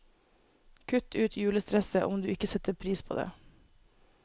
Kutt ut julestresset, om du ikke setter pris på det.